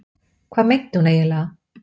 Hvað meinti hún eiginlega?